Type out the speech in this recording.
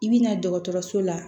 I bɛ na dɔgɔtɔrɔso la